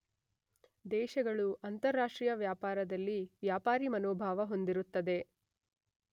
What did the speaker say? ದೇಶಗಳು ಅಂತಾರಾಷ್ಟ್ರೀಯ ವ್ಯಾಪಾರದಲ್ಲಿ ವ್ಯಾಪಾರಿಮನೋಭಾವ ಹೊಂದಿರುತ್ತದೆ